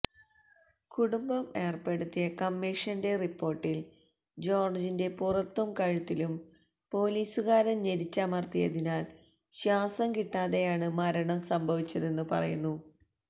കുടുംബം ഏര്പ്പെടുത്തിയ കമ്മീഷന്റെ റിപ്പോര്ട്ടില് ജോര്ജിന്റെ പുറത്തും കഴുത്തിലും പൊലീസുകാരന് ഞരിച്ചമര്ത്തിയതിനാല് ശ്വാസം കിട്ടാതെയാണ് മരണം സംഭവിച്ചതെന്ന് പറയുന്നു